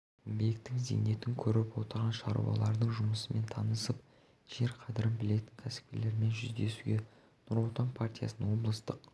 еңбектің зейнетін көріп отырған шаруалардың жұмысымен танысып жер қадірін білетін кәсіпкерлермен жүздесуге нұр отан партиясының облыстық